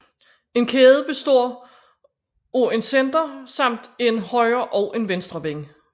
En kæde består af en center samt en højre og en venstre wing